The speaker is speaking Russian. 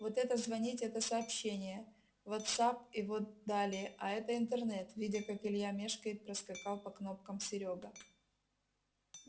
вот это звонить это сообщения вотсапп и вот далее а это интернет видя как илья мешкает проскакал по кнопкам серёга